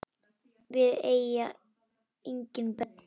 Við eiga engin börn.